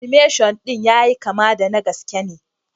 "Animation" din ya yi kama da gaske ne.